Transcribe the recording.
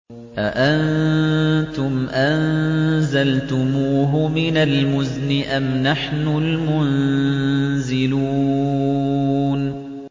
أَأَنتُمْ أَنزَلْتُمُوهُ مِنَ الْمُزْنِ أَمْ نَحْنُ الْمُنزِلُونَ